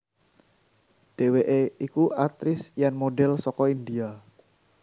Dheweke iku aktris lan model saka India